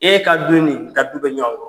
E ka don ni bɛ ɲɔgɔn kɔ.